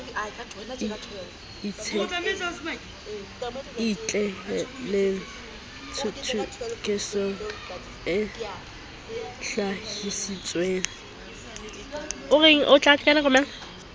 e itshetlehileng thothokisong e hlahisitsweng